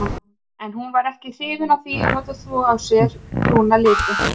En hún var ekkert hrifin af því að láta þvo af sér brúna litinn.